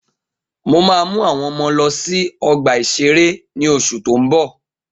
Mo ma mú àwọn ọmọ lọ sí ọgbà-ìṣeré ní oṣù tó ń bọ̀